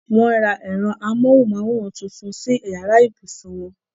Wọ́n ra ẹ̀rọ-amóhùnmáwòrán tuntun sí yàrá ibùsùn wọn.